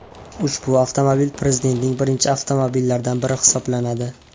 Ushbu avtomobil prezidentning birinchi avtomobillaridan biri hisoblanadi.